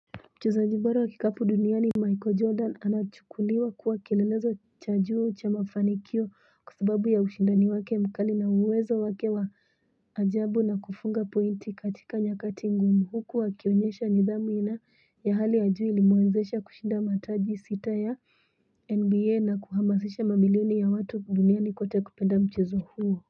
Mchezajibora wa kikapu duniani Michael Jordan anachukuliwa kuwa kielelezo cha juu cha mafanikio kwa sababu ya ushindani wake mkali na uwezo wake wa ajabu na kufunga pointi katika nyakati ngumu huku akionyesha nidhamu ina ya hali ya juu ilimwezesha kushinda mataji sita ya NBA na kuhamasisha mabilioni ya watu duniani kote kupenda mchezo huo.